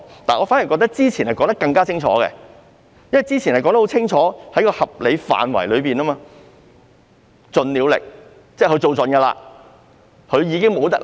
但我覺得原條文更清楚，因為原條文清楚說明"在合理範圍內盡了力"，即他已盡力。